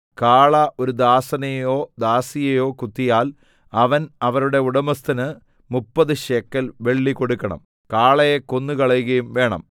കാള ഒരു ദാസനെയോ ദാസിയെയോ കുത്തിയാൽ അവൻ അവരുടെ ഉടമസ്ഥന് മുപ്പതു ശേക്കെൽ വെള്ളി കൊടുക്കണം കാളയെ കൊന്നുകളയുകയും വേണം